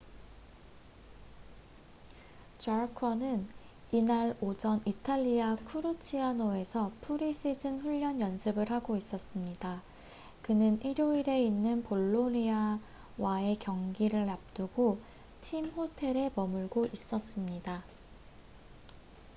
jarque는 이날 오전 이탈리아 쿠르치아노에서 프리시즌 훈련 연습을 하고 있었습니다 그는 일요일에 있는 볼로니아와의 경기를 앞두고 팀 호텔에 머물고 있었습니다